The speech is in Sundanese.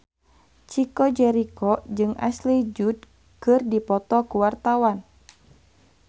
Chico Jericho jeung Ashley Judd keur dipoto ku wartawan